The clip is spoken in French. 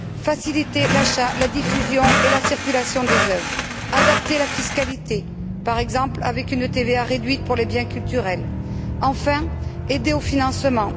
Elle doit faciliter l'achat, la diffusion et la circulation des œuvres, adapter la fiscalité, par exemple avec une TVA réduite pour les biens culturels, et enfin, aider au financement.